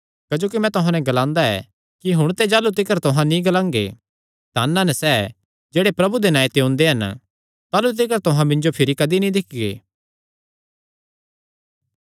क्जोकि मैं तुहां नैं ग्लांदा ऐ कि हुण ते जाह़लू तिकर तुहां नीं ग्लांगे धन हन सैह़ जेह्ड़े प्रभु दे नांऐ ते ओंदे हन ताह़लू तिकर तुहां मिन्जो भिरी कदी नीं दिक्खगे